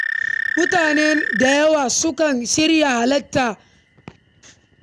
Mutane da yawa sukan shirya kayan sawa na musamman domin halartar bukukuwa.